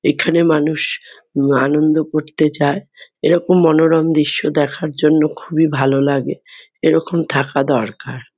এখানে মানুষ উম আনন্দ করতে যায়। এরকম মনোরম দৃশ্য দেখার জন্য খুবই ভালো লাগে। এরকম থাকা দরকার।